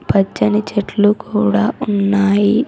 పచ్చని చెట్లు కూడా ఉన్నాయి.